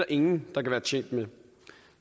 ingen der kan være tjent med